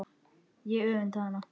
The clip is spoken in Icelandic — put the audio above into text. Ég öfunda hana.